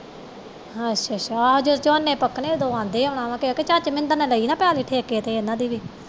ਅੱਛਾ ਅੱਛਾ ਆਹ ਜਦੋ ਝੋਨਾ ਪਕਣੇ ਓਦੋਂ ਆਉਂਦੇ ਹੋਣੇ ਕਿਉਂਕਿ ਚਾਤੀ ਮਿੰਦਰ ਨੇ ਪੈਲੀ ਲਈ ਨਾ ਠੇਕੇ ਤੇ ਉਹਨਾਂ ਦੀ ਵੀ